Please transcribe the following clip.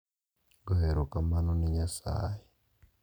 Goyo erokamano ne Nyasaye